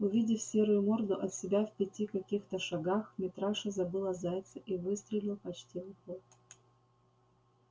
увидев серую морду от себя в пяти каких-то шагах митраша забыл о зайце и выстрелил почти в упор